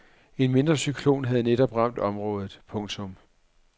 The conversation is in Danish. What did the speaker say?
En mindre cyklon havde netop ramt området. punktum